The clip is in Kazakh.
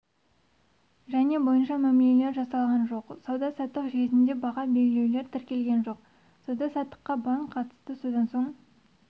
және бойынша мәмілелер жасалған жоқ сауда-саттық жүйесінде баға белгілеулер тіркелген жоқ сауда-саттыққа банк қатысты содан соң